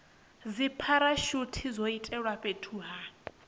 dzipharashuthi zwo iledzwa fhethu ha